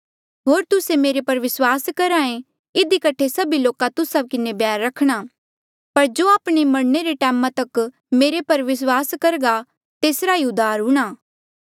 होर तुस्से मेरे पर विस्वास रख्हा ऐें इधी कठे सभी लोका तुस्सा किन्हें बैर करणा पर जो आपणे मरणे रे टैमा तक मेरे पर विस्वास करघा तेसरा ई उद्धार हूंणां